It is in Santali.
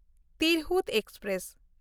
ᱛᱤᱨᱦᱩᱛ ᱮᱠᱥᱯᱨᱮᱥ